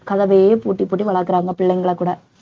கதவையே பூட்டி பூட்டி வளக்கறாங்க பிள்ளைங்களை கூட